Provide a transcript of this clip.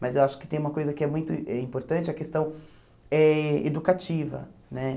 Mas eu acho que tem uma coisa que é muito é importante, a questão eh educativa, né?